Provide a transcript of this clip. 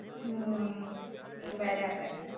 હમ્મ. બરાબર છે